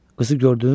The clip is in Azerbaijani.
Qızı gördün?